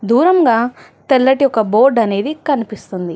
దూరంగా తెల్లటి ఒక బోర్డు అనేది కనిపిస్తుంది.